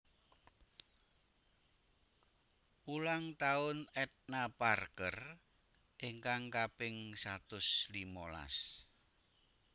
Ulang taun Edna Parker ingkang kaping satus limolas